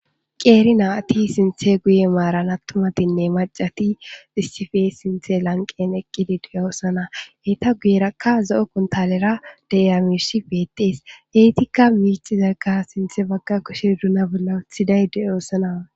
qeeri naati sinthe guye maaran attumatinne macati issife sinthe lanqen eqqidi duya osana heyta guyerakka zo7o kuntalera deamishi beettees eytikka miicizagga sinthe bagga kushe duna bolla wuthidayde oossanawa